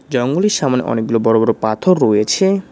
জঙ্গলের সামনে অনেকগুলো বড় বড় পাথর রয়েছে।